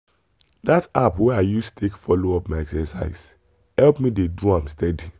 that app wey i use take follow up my exercise help me dey do am steady.